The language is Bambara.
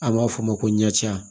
An b'a f'o ma ko ɲɛcɛya